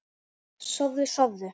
Sofðu, sofðu!